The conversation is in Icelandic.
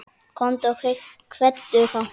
Komdu og kveddu þá.